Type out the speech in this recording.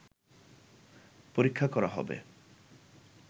পরীক্ষা করা হবে